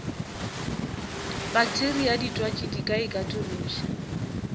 pakteria ditwatši di ka ikatološa